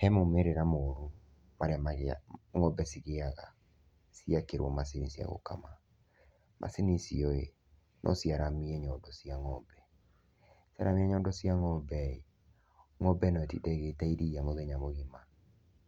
He maumĩrĩra moru marĩa ngombe cigĩaga ciekiruo macini cia gũkama. Macini icio ĩ, no ciaramie nyondo cia ng'ombe. Ciaramia nyondo cia ngombe ĩ, ngombe no ĩtinde ĩgĩita iria mũthenya mũgima